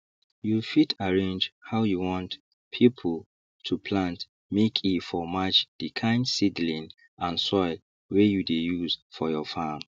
you fit arrange how you want pipu to plant make e for match the kind seedling and soil wey you dey use for your farm